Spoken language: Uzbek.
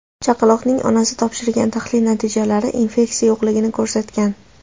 Chaqaloqning onasi topshirgan tahlil natijalari infeksiya yo‘qligini ko‘rsatgan.